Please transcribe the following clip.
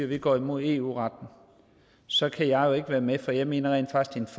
vi går imod eu retten så kan jeg jo ikke være med for jeg mener rent faktisk